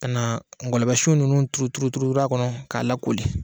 Kana na ngɔlɔbɛ sun ninnun turu turu a kɔnɔ k'a la koli